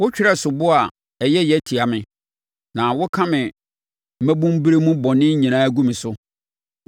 Wotwerɛ soboɔ a ɛyɛ yea tia me, na woka me mmabunuberɛ mu bɔne nyinaa gu me so.